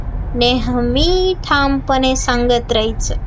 नेहमी ठामपणे सांगता राहायचं